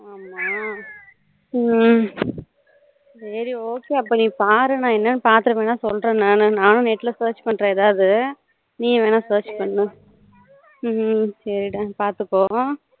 ஹம் ஹம் ஹம் சரி okay அப்போ நீ பாரு நானு எண்ணனு பாத்துட்டு சொல்லுறேன் நானு எப்படினு நானும் net search பண்ணுறேன் ஏதாவது நீயும் ஏதாவது search பன்னூ ஹம் சரி டா பாத்துக்கோ